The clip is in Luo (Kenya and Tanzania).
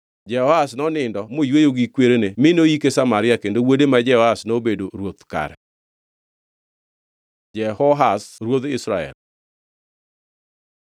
Jehoahaz nonindo moyweyo gi kwerene mi noyike Samaria kendo wuode ma Jehoash nobedo ruoth kare. Jehoash ruodh Israel